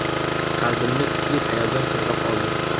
Qalbimni kuchli hayajon chulg‘ab oldi.